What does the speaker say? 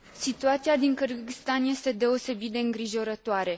Situația din Kârgâzstan este deosebit de îngrijorătoare.